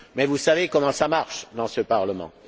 Mais vous savez comment ça marche dans ce Parlement!